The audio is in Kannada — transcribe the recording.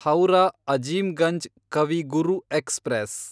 ಹೌರಾ ಅಜೀಮ್ಗಂಜ್ ಕವಿ ಗುರು ಎಕ್ಸ್‌ಪ್ರೆಸ್